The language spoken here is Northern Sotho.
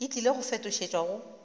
e tlile go fetošetšwa go